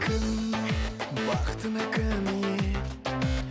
кім бақытыңа кім ие